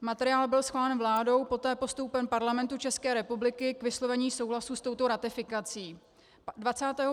Materiál byl schválen vládou, poté postoupen Parlamentu České republiky k vyslovení souhlasu s touto ratifikací.